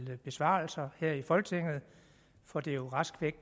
til besvarelser her i folketinget for det er jo rask